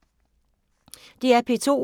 DR P2